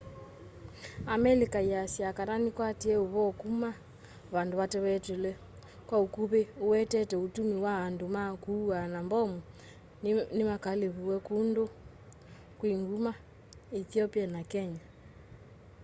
amelika ĩasya kana nĩkwatie ũvoo kuma vandu vatawetetweula kwa ukuvi uwetete utumii wa andu ma kuaa na mbomu nimakaalivua kundu kwi nguma ethiopia na kenya